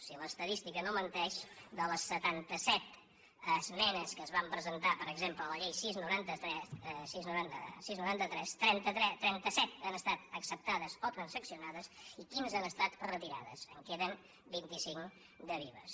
si l’estadística no men·teix de les setanta·set esmenes que es van presentar per exemple a la llei sis noranta tres trenta·set han estat acceptades o transaccionades i quinze han estat retirades en queden vint·i·cinc de vives